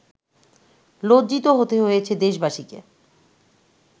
লজ্জিত হতে হয়েছে দেশবাসীকে